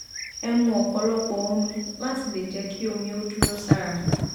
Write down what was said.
ẹ mu ọpọlọpọ omi láti lè jẹ kí omi ó dúró sára